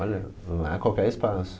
Olha, não é qualquer espaço.